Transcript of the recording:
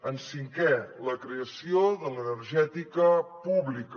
en cinquè la creació de l’energètica pública